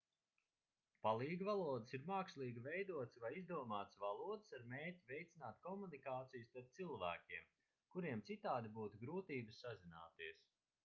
palīgvalodas ir mākslīgi veidotas vai izdomātas valodas ar mērķi veicināt komunikāciju starp cilvēkiem kuriem citādi būtu grūtības sazināties